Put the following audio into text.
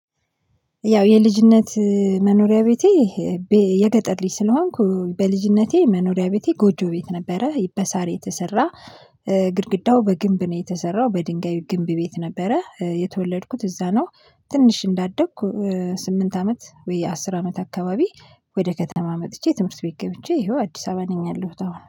ያው የልጅነት መኖሪያ ቤቴ የገጠር ልጅ ስለሆንኩ በልጅነቴ መኖሪያ ቤቴ ጎጆ ቤት ነበረ በሳር የተሰራ ግድግዳው በግንብ ነው የተሰራው፤። በድንጋዩ ግንብ ቤት ነበረ የተወለድኩት እዛ ነው። ትንሽ እንዳደግኩ ስምንት አመት ወይ አስር አመት አካባቢ። ወደ ከተማ መጥቼ ትምህርት ቤት ገብቼ ይኸው አዲስ አበባ ነኝ ያለሁት አሁን